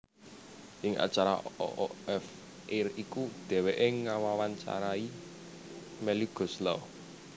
Ing acara oof air iku dheweke ngewawancarani Melly Goeslaw